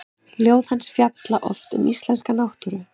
Ljóð hans fjalla oft um íslenska náttúru.